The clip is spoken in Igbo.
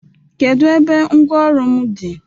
Kedu ebe ngwa ọrụ m dị?